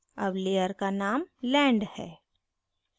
अब layer का named land है